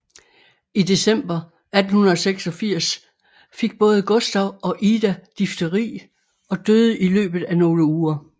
I december 1886 fik både Gustav og Ida difteri og døde i løbet af nogle uger